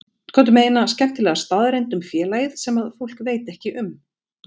Komdu með eina skemmtilega staðreynd um félagið sem fólk veit ekki um?